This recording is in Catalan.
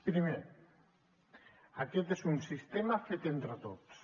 primer aquest és un sistema fet entre tots